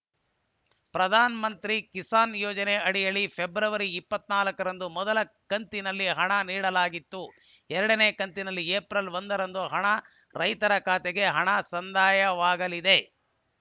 ಪ್ರಧಾನ್‌ ಮಂತ್ರಿ ಕಿಸಾನ್‌ ಯೋಜನೆ ಅಡಿಯಲ್ಲಿ ಫೆಬ್ರವರಿ ಇಪ್ಪತ್ತ್ ನಾಲ್ಕ ರಂದು ಮೊದಲ ಕಂತಿನಲ್ಲಿ ಹಣ ನೀಡಲಾಗಿತ್ತು ಎರಡನೇ ಕಂತಿನಲ್ಲಿ ಏಫ್ರಿಲ್ ಒಂದ ರಂದು ಹಣ ರೈತರ ಖಾತೆಗೆ ಹಣ ಸಂದಾಯವಾಗಲಿದೆ